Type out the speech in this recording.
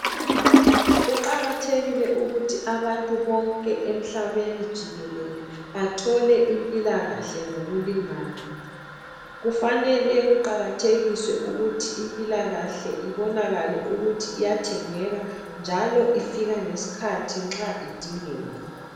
Kuqakathekile ukuthi abantu bonke emhlabeni jikelele bathole impilakahle ngokulingana. Kufanele kuqakathekiswe ukuthi impilakahle ibonakale ukuthi iyathengeka njalo ifika ngesikhathi nxa idingeka.